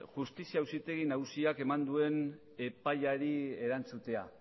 justizia auzitegi nagusiak eman duen epaiari erantzutea